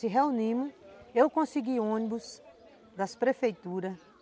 Se reunimos, eu consegui ônibus das prefeituras,